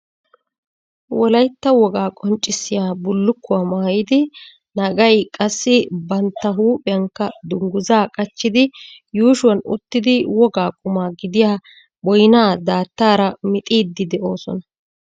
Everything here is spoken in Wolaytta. Wolayitta wogaa qonccissiya bullukkuwa maayidi naggayi qassi bantta huuphiyankka dunguzaa qachchidi yuushuwan uttidi wogaa quma gidiya boyyiya daattaara mixiiddi de'oosona.